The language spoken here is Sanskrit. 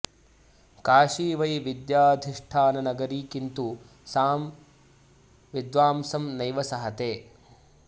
काशी वै विद्याधिष्ठाननगरी किन्तु सां विद्वांसं नैव सहते